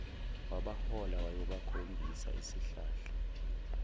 wabahola wayobakhombisa isihlahla